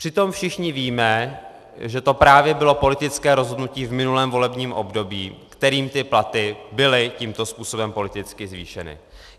Přitom všichni víme, že to právě bylo politické rozhodnutí v minulém volebním období, kterým ty platy byly tímto způsobem politicky zvýšeny.